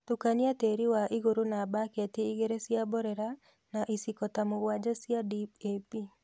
tũkania tĩĩri wa igũrũ na mbaketi igĩrĩ cia mborera na iciko ta mũgwanja cia DAP